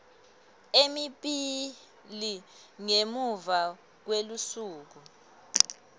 lemibili ngemuva kwelusuku